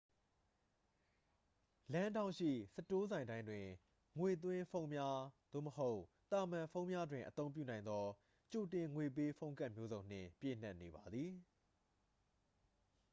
လမ်းထောင့်ရှိ စတိုးဆိုင်တိုင်းတွင် ငွေသွင်းဖုန်းများ သို့မဟုတ် သာမန်ဖုန်းများတွင် အသုံးပြုနိုင်သော ကြိုတင်ငွေပေး ဖုန်းကဒ်မျိုးစုံနှင့် ပြည့်နှက်နေပါသည်